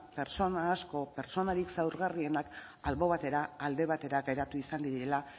pertsona asko pertsonarik zaurgarrienak albo batera alde batera geratu izan direla